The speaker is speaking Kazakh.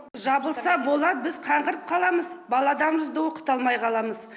жабылса болады біз қаңғырып қаламыз баладарымызды оқыта алмай қаламыз